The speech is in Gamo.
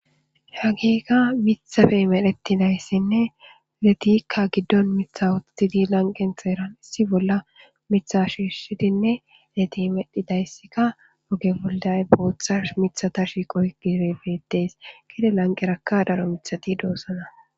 Hagika mithafe medhetidayssinne letikka giddon mitha wothtidi lanqen xeeran issi bolla mitha shiishshidinne leti medhidayssikka oge bolday booththas mithata shiiqo hi gire betees gide lanqerakka daro mithati doossana.